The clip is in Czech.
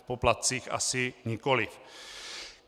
V poplatcích asi nikoliv.